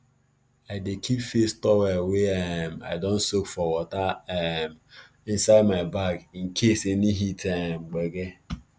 i dey keep face towel wey um i don soak for water um inside my bag in case of any heat um gbege